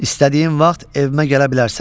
İstədiyin vaxt evimə gələ bilərsən.